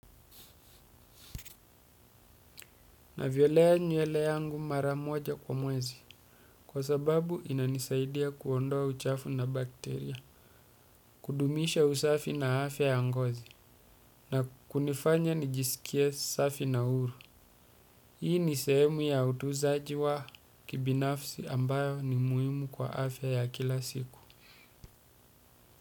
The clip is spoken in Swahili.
Navyolea nywele yangu maramoja kwa mwezi kwa sababu inanisaidia kuondoa uchafu na bakteria kudumisha usafi na afya ya ngozi na kunifanya nijisikie safi na huru hii ni sehemu ya utuzaji wa kibinafsi ambayo ni muhimu kwa afya ya kila siku.